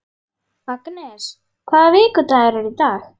Agnes, hvaða vikudagur er í dag?